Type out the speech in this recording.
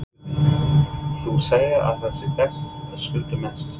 Guðný: Þú segir að það sé best að skulda mest?